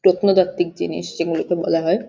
পেতনতাত্বিক জিনিস যে গুলো কে বলা হয় --